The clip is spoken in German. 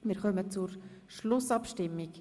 Wir kommen zur Schlussabstimmung.